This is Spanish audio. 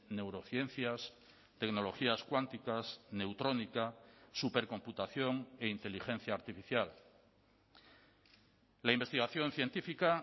neurociencias tecnologías cuánticas neutrónica supercomputación e inteligencia artificial la investigación científica